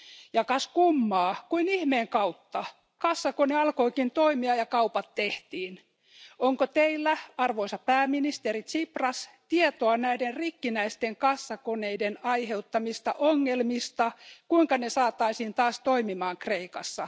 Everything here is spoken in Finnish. Ja kas kummaa, kuin ihmeen kautta kassakone alkoikin toimia ja kaupat tehtiin. Onko Teillä arvoisa pääministeri Tsipras tietoa näiden rikkinäisten kassakoneiden aiheuttamista ongelmista ja siitä, kuinka ne saataisiin taas toimimaan Kreikassa?